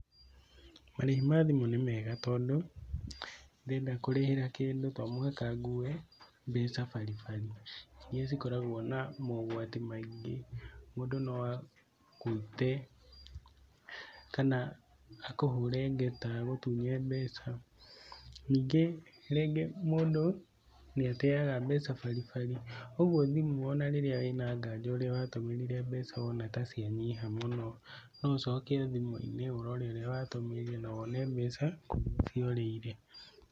Marĩhi ma thimũ nĩ mega tondũ ndenda kũrĩhĩra kĩndũ to mũhaka ngue mbeca baribari iria ikoragwo na mogwati maingĩ mũndũ no agũite kana akũhũre ngeta agũtunye mbeca, ningĩ rĩngĩ mũndũ nĩ ateaga mbeca baribari, ũguo thimũ ona rĩrĩa wĩna nganja ũrĩa watũmĩrire mbeca wona ta cianyiha mũno no ũcoke thimũ-inĩ wone ũrĩa watũmĩrire na wone mbeca kũrĩa ciorĩire.